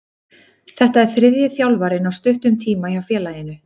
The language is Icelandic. Þetta er þriðji þjálfarinn á stuttum tíma hjá félaginu.